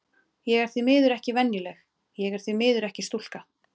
Ég er því miður ekki venjuleg, og ég er því miður ekki stúlka.